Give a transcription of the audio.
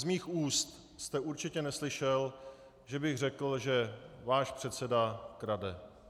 Z mých úst jste určitě neslyšel, že bych řekl, že váš předseda krade.